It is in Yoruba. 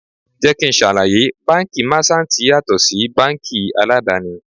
Jẹ́ kí n ṣàlàyé, báńkì Máṣántìì yàtọ̀ sí báńkì aládàni.